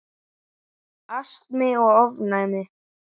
Astmi og ofnæmi